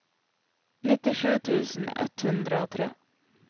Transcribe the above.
nittisju tusen ett hundre og tre